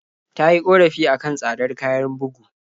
Ta yi ƙorafi a kan tsadar kayan bugu.